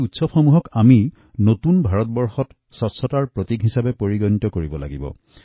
এই উৎসৱে আমাৰ এক ভৰসা আৰু বিশ্বাসৰ প্ৰতীকতো হয়েই লগতে আমাৰ NewIndiaৰ উৎসৱক স্বচ্ছতাৰ প্ৰতীকৰূপেও আমি প্ৰতিষ্ঠা কৰিব লাগিব